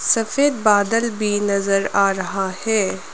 सफेद बादल भी नजर आ रहा है।